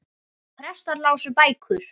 Prestar lásu bækur.